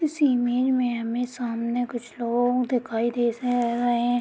इस इमेज में हमें सामने कुछ लोग दिखाई दे रहे हैं।